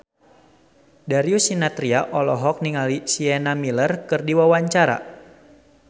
Darius Sinathrya olohok ningali Sienna Miller keur diwawancara